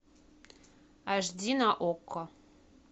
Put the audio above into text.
аш ди на окко